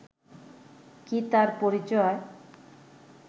কী তার পরিচয়